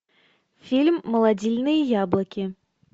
фильм молодильные яблоки